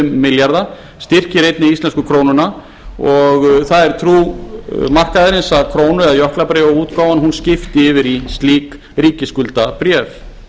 milljarða styrkir einnig íslensku krónuna og það er trú markaðarins að krónu eða jöklabréfaútgáfan skipti yfir í slík ríkisskuldabréf